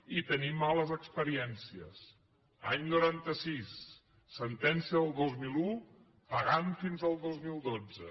i en tenim males experiènci·es any noranta sis sentència del dos mil un pagant fins al dos mil dotze